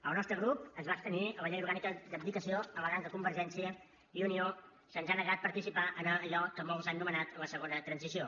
el nostre grup es va abstenir a la llei orgànica d’abdicació al·legant que a convergència i unió se’ns ha negat participar en allò que molts han anomenat la segona transició